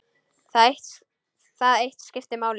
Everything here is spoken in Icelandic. Það eitt skipti máli.